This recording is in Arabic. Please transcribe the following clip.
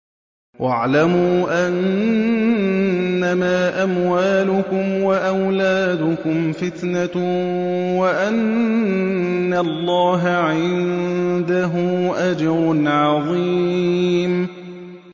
وَاعْلَمُوا أَنَّمَا أَمْوَالُكُمْ وَأَوْلَادُكُمْ فِتْنَةٌ وَأَنَّ اللَّهَ عِندَهُ أَجْرٌ عَظِيمٌ